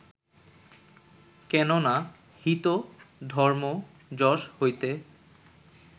কেন না, হিত, ধর্ম, যশ হইতে